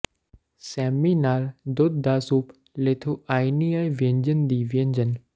ਸੇਮਮੀ ਨਾਲ ਦੁੱਧ ਦਾ ਸੂਪ ਲਿਥੁਆਨਿਆਈ ਵਿਅੰਜਨ ਦੀ ਵਿਅੰਜਨ